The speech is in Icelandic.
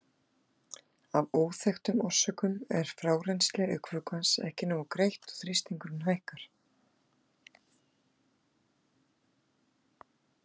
Af óþekktum orsökum er frárennsli augnvökvans ekki nógu greitt og þrýstingurinn hækkar.